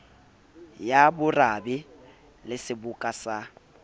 ya borabe le seboka sa